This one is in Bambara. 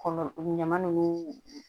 Kɔlɔ ɲama nunnu